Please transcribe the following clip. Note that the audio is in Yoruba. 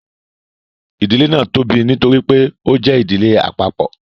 idile náa tóbi nítorí pé o jẹ ìdílé àpapọ